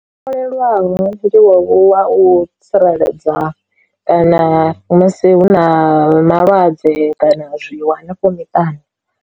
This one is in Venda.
Lwaho ndi wowu wa u tsireledza kana musi hu na malwadze kana zwi wo hanefho miṱani.